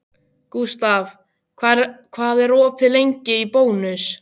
Gustav, hvað er opið lengi í Bónus?